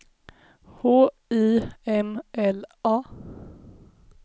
H I M L A